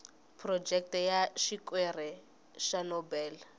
phurojeke ya xikwere xa nobel